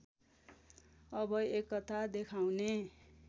अब एकता देखाउने